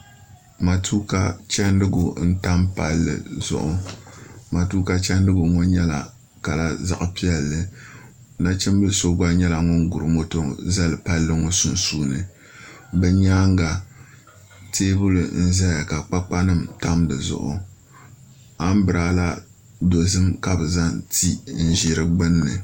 Matuuka chɛndigu n tam palli zuɣu matuuka chɛndigu ŋo kala ŋo nyɛla zaɣ piɛlli nachimbili so gba nyɛla ŋun guri moto zali palli ŋo sunsuuni di nyaanga teebuli n ʒɛya ka kpakpa nim tam dizuɣu anbirala dozim ka bi zaŋ ti n ʒi di gbunni